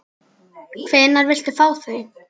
Hvenær viltu fá þau?